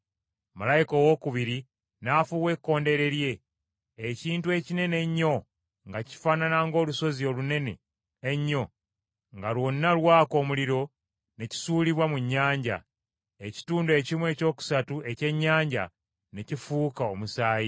Malayika owookubiri n’afuuwa ekkondeere lye, ekintu ekinene ennyo nga kifaanana ng’olusozi olunene ennyo nga lwonna lwaka omuliro ne kisuulibwa mu nnyanja. Ekitundu ekimu ekyokusatu ekyennyanja ne kifuuka omusaayi,